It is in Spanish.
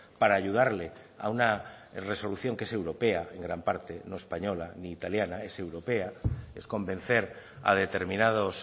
para ayudarle a una resolución que es europea en gran parte no española ni italiana es europea es convencer a determinados